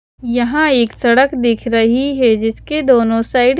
यहाँ एक सड़क दिख रही है जिसके दोनों साइड --